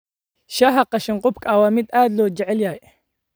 Shaaha qashin-qubka waa mid aad loo jecel yahay.